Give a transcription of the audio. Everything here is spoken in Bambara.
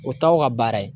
O t'aw ka baara ye